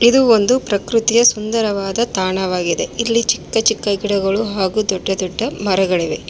ಇದು ಒಂದು ಪ್ರಕೃತಿಯ ಸುಂದರವಾದ ತಾಣವಾಗಿದೆ ಇಲ್ಲಿ ಚಿಕ್ಕ ಚಿಕ್ಕ ಗಿಡಗಳು ಹಾಗೂ ದೊಡ್ಡ ದೊಡ್ಡ ಮರಗಳಿವೆ.